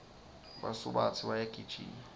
basubatsi bayagijima